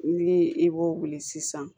Ni i b'o wuli sisan